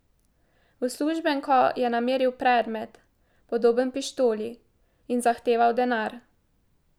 V uslužbenko je nameril predmet, podoben pištoli, in zahteval denar.